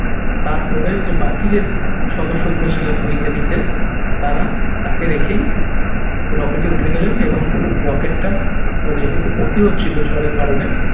তারপরে যে বাকি যে উম সদস্য গুলো ছিলেন বৈজ্ঞানিকদের তারা তাকে রেখেই rocket এ উঠে গেলেন এবং rocket টা যেহেতু ক্ষতি হচ্ছিল ঝড়ের কারণে